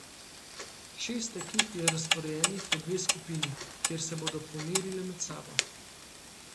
Šest ekip je razporejenih v dve skupini, kjer se bodo pomerile med sabo.